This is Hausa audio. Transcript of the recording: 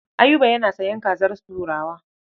Ayuba yana sayan kazar turawa.